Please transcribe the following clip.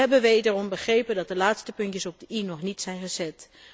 We hebben wederom begrepen dat de laatste puntjes op de i nog niet zijn gezet.